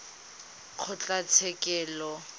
kgotlatshekelo